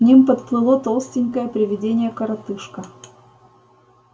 к ним подплыло толстенькое привидение-коротышка